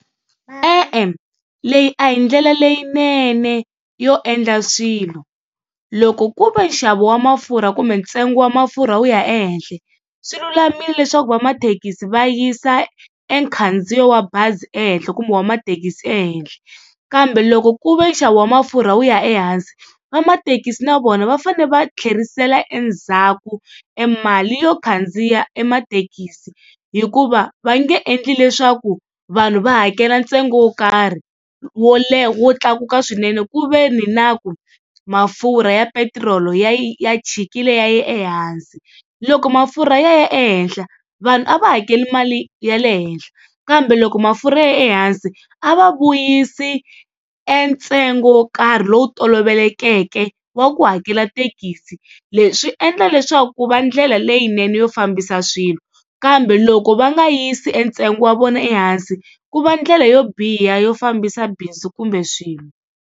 E-e, leyi a hi ndlela leyinene yo endla swilo loko ku ve nxavo wa mafurha kumbe ntsengo wa mafurha wu ya ehehla swi lulamile leswaku vamathekisi va yisa e khandziyo wa bazi ehenhla kumbe wa mathekisi ehenhla. Kambe loko ku ve nxavo wa mafurha wu ya ehansi vamathekisi na vona va fanele va tlherisela endzhaku emali yo khandziya e mathekisi, hikuva va nge endli leswaku vanhu va hakela ntsengo wo karhi wo leha wo tlakuka swinene ku veni na ku mafurha ya petiroli ya ya chikile ya ya ehansi. Loko mafurha ya ya ehenhla vanhu a va hakeli mali ya le henhla kambe loko mafurha ya ya ehansi a va vuyisi e ntsengo wo karhi lowu tolovelekeke wa ku hakela thekisi. Leswi swi endla leswaku ku va ndlela leyinene yo fambisa swilo, kambe loko va nga yisi entsengo wa vona ehansi ku va ndlela yo biha yo fambisa bindzu kumbe swilo.